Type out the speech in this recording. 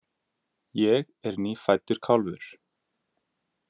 Ég er nýfæddur kálfur.